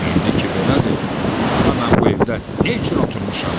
İndi ki belədir, daha mən bu evdə nə üçün oturmuşam?